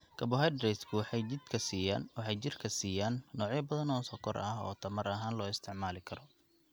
Carbohydratesku waxay jidhka siiyaan noocyo badan oo sonkor ah oo tamar ahaan loo isticmaali karo.